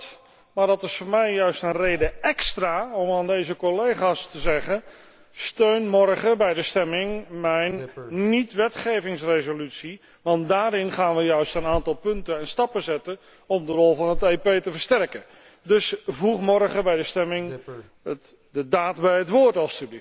Ik begrijp dat, maar dat is voor mij juist een reden te meer om aan deze collega's te zeggen steun morgen bij de stemming mijn niet wetgevingsresolutie, want daarmee gaan we juist een aantal punten en stappen zetten om de rol van het EP te versterken. Dus voeg morgen bij de stemming de daad bij het woord.